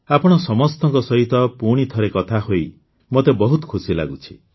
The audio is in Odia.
ଆପଣ ସମସ୍ତଙ୍କ ସହିତ ପୁଣିଥରେ କଥା ହୋଇ ମୋତେ ବହୁତ ଖୁସି ଲାଗୁଛି